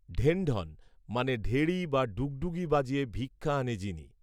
ঢেণ্ঢণ মানে ঢেড়ি বা ডুগডুগি বাজিয়ে ভিক্ষা আনে যিনি